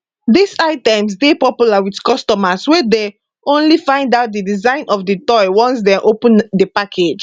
dis items dey popular with customers wey dey only find out di design of di toy once dem open di package